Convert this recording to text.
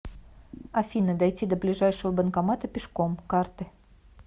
афина дойти до ближайшего банкомата пешком карты